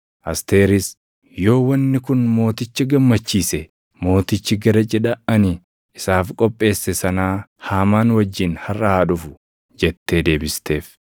Asteeris, “Yoo wanni kun mooticha gammachiise, mootichi gara cidha ani isaaf qopheesse sanaa Haamaan wajjin harʼa haa dhufu” jettee deebifteef.